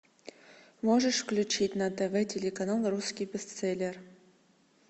можешь включить на тв телеканал русский бестселлер